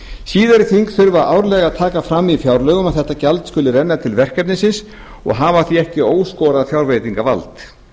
síðari þing þurfa árlega að taka fram í fjárlögum að þetta gjald skuli renna til verkefnisins og hafa því ekki óskorað fjárveitingavald farist fyrir að